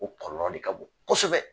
O kɔlɔlɔ de ka bon kosɛbɛ